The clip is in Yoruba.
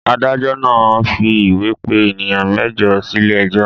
Adájọ́ náà fi ìwé pè ènìyàn mẹ́jọ sílé ẹjọ́.